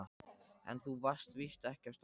En þú varst víst ekki á staðnum.